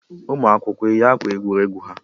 Ụmụ akwụkwọ eyi akwa egwuregwu ha?